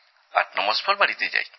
৮৯ মাস পর বাড়িতে যাই